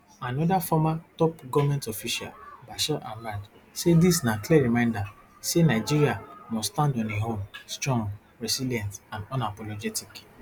anoda former top goment official bashir ahmad say dis na clear reminder say nigeria must stand on im own strong resilient and unapologetic